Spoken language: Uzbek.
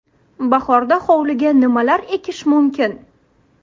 Bahorda hovliga nimalar ekish mumkin?.